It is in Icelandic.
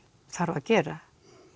þarf að gera